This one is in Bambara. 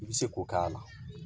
I bɛ se k'o k'a la